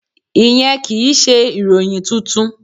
Ìyẹn kì í ṣe ìròyìn tuntun.